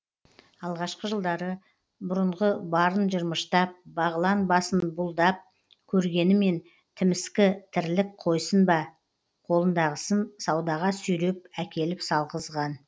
алғашқы жылдары бұрынғы барын жырмыштап бағылан басын бұлдап көргенімен тіміскі тірлік қойсын ба қолындағысын саудаға сүйреп әкеліп салғызған